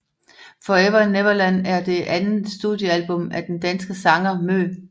Forever Neverland er det andet studiealbum af den danske sanger MØ